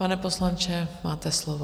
Pane poslanče, máte slovo.